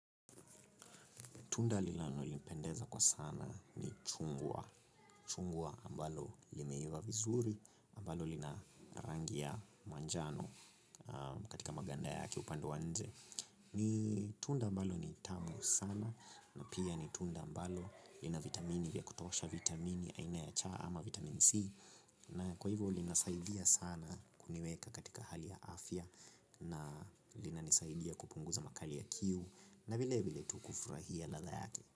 Tunda linalo nipendeza kwa sana ni chungwa, chungwa ambalo limeiva vizuri, ambalo lina rangi ya manjano katika maganda yake upande wa nje. Ni tunda ambalo ni tamu sana na pia ni tunda ambalo lina vitamini vya kutosha vitamini aina ya cha ama vitamin C. Na kwa hivyo linasaidia sana kuniweka katika hali ya afya na linanisaidia kupunguza makali ya kiu na vile vile tu kufurahia ladha yake.